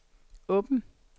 åben